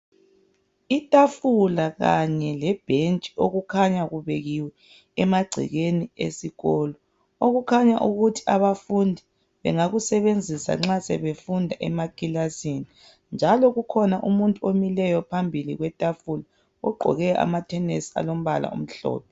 Itafula kanye lebhentshi okukhanya kubekiwe emagcekeni esikolo. Okukhanya ukuthi abafundi bengakusebenzisa nxa sebefunda emakilasini. Njalo kukhona umuntu omileyo phambili kwetafula, ugqoke amathenesi alombala omhlophe.